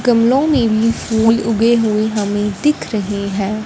गमलों में भी फूल उगे हुएं हमें दिख रहें हैं।